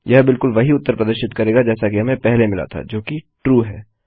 यह बिलकुल वही उत्तर प्रदर्शित करेगा जैसा कि हमें पहले मिला था जो कि ट्रू है